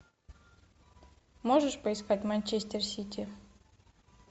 можешь поискать манчестер сити